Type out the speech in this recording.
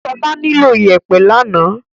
Ṣọlá nílò ìyẹ̀pẹ̀ lánàá.